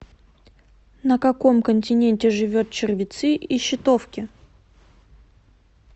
на каком континенте живет червецы и щитовки